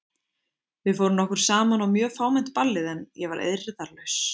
Við fórum nokkur saman á mjög fámennt ballið en ég var eirðarlaus.